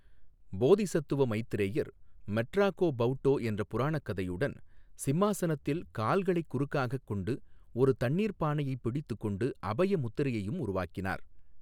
போதிசத்துவ மைத்ரேயர் மெட்ராகோ பௌடோ என்ற புராணக் கதையுடன், சிம்மாசனத்தில் கால்களைக் குறுக்காகக் கொண்டு, ஒரு தண்ணீர்ப் பானையைப் பிடித்துக் கொண்டு, அபய முத்திரையையும் உருவாக்கினார்.